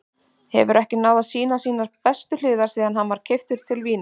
Hefur ekki náð að sýna sínar bestu hliðar síðan hann var keyptur til Vínar.